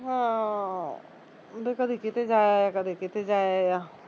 ਹਾਂ ਉਹ ਤਾਂ ਕਦੀ ਕਿਤੇ ਜਾਂ ਆਇਆ ਕਦੇ ਕਿਤੇ ਜਾਂ ਆਇਆ